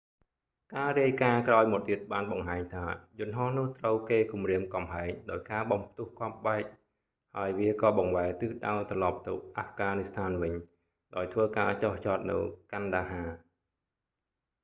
ការរាយការណ៍ក្រោយមកទៀតបានបង្ហាញថា យន្ដហោះនោះត្រូវគេគំរាមកំហែងដោយការបំផ្ទុះគ្រាប់បែក ហើយវាក៏បង្វែរទិសដៅត្រឡប់ទៅអាហ្វហ្កានីស្ថានវិញ ដោយធ្វើការចុះចតនៅ kandahar កាន់ដាហា